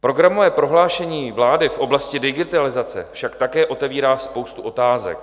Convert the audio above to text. Programové prohlášení vlády v oblasti digitalizace však také otevírá spoustu otázek.